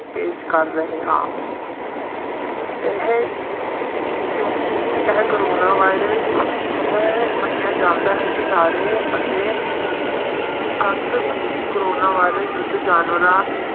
ਪੇਸ ਕਰ ਰਹੇ ਹਾਂ ਇਹ ਕਿਉਂਕਿ ਇਹ ਕੋਰੋਨਾ ਵਾਇਰਸ ਇਹ ਮੰਨਿਆ ਜਾਂਦਾ ਹੈ ਕਿ ਸਾਰੇ ਅਤੇ ਸੱਤ ਮਨੁੱਖੀ ਕੋਰੋਨਾ ਵਾਇਰਸ ਦੂਜੇ ਜਾਨਵਰਾਂ